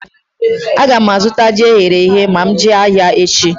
Aga m azụta ji eghere eghe ma m jee ahịa echi